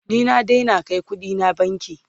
ni na Daina Kai ƙuɗina banki